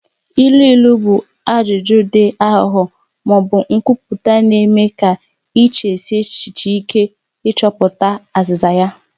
Ilu ilu bụ ajụjụ dị aghụghọ ma ọ bụ nkwupụta na-eme ka ị chesie echiche ike ịchọpụta azịza ya.